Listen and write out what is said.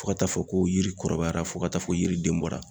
Fo ka taa fɔ ko yiri kɔrɔbayara fo ka taa fɔ yiriden bɔra.